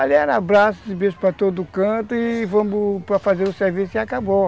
Ali era abraços e beijos para todo canto e vamos para fazer o serviço e acabou.